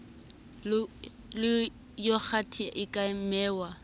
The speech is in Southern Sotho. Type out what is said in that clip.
le yogathe e ka nwewa